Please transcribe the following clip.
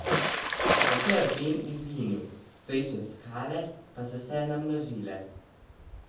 Nato je Ben izginil, stoječe skale pa so se namnožile.